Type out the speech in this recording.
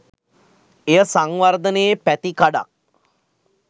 එය සංවර්ධනයේ පැතිකඩක්